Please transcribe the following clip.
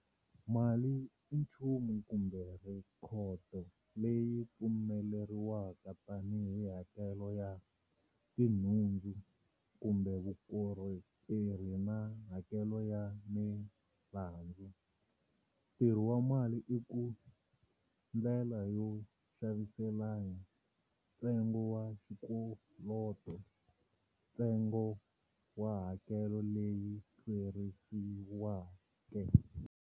Mali i nchumu kumbe rhekhodo leyi pfumeriwaka tani hi hakelo ya tinhundzu kumbe vukorhokeri na hakelo ya milandzu. Ntirho wa mali i ku-ndlela yo xaviselana, ntsengo wa xikoloto, ntsengo wa hakelo leyi hlwerisiweke.